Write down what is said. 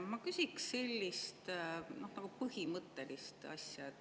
Ma küsin põhimõttelist asja.